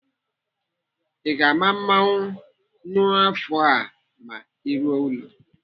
I ga-ama mmụọnwụ n'afọ a ma ị ruo ụlọ?